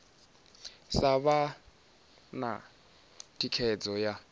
sa vha na thikhedzo ya